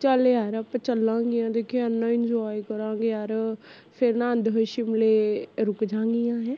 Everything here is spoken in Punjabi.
ਚਾਲ ਯਰ ਆਪਾ ਚਲਗੀਂਆ ਦੇਖੀ ਏਨਾ enjoy ਕਰਾਂਗੇ ਯਾਰ ਫੇਰ ਨਾ ਆਂਦੇ ਹੋਏ ਸ਼ਿਮਲੇ ਰੁਕਜਾ ਗੀਆ, ਹੈਂ